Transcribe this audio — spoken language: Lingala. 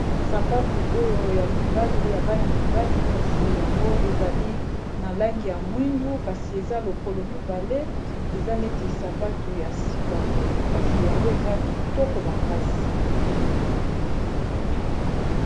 Sapatu oyo ya mibali ya bana mibali kasi yango ezali na langi ya mwindu kasi eza lokolo mibale eza neti sapatu ya sika boye kasi yango eza kitoko makasi.